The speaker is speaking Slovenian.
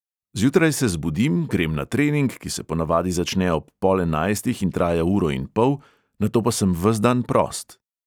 Zjutraj se zbudim, grem na trening, ki se ponavadi začne ob pol enajstih in traja uro in pol, nato pa sem ves dan prost.